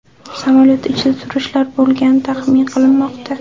Samolyot ichida turistlar bo‘lgani taxmin qilinmoqda.